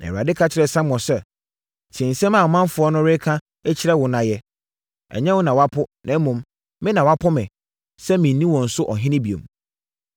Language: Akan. Na Awurade ka kyerɛɛ Samuel sɛ, “Tie nsɛm a ɔmanfoɔ no reka kyerɛ wo no na yɛ. Ɛnyɛ wo na wɔapo, na mmom, me na wɔapo me, sɛ mennni wɔn so ɔhene bio.